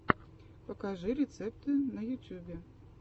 покажи рецепты на ютюбе